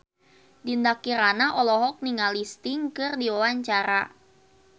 Dinda Kirana olohok ningali Sting keur diwawancara